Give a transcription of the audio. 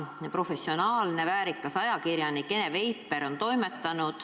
Professionaalne väärikas ajakirjanik Ene Veiper on seda toimetanud.